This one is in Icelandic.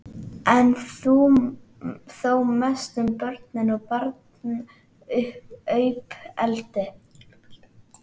en þó mest um börn og barnauppeldi.